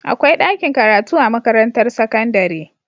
Akwai ɗakin karatu a makarantar sakandare